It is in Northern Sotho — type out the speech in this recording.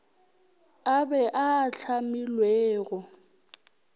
a be a a hlamilwego